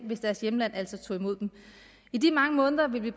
hvis deres hjemland altså tog imod dem i de mange måneder vil vi